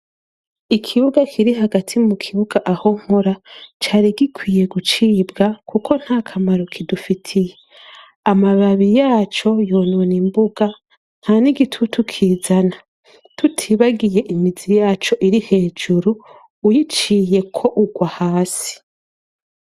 Ikibuga kiri hagati mu kibuga aho nkora cari gikwiye gucibwa kuko ntakamaro kidufitiye, amababi yaco yonona imbuga nta n'igitutu kizana, tutibagiye imizi yaco iri hejuru uyiciyeko ugwa hasi.